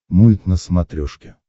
мульт на смотрешке